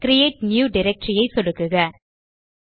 create new directory ஐ சொடுக்குக